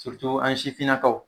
an sifinakaw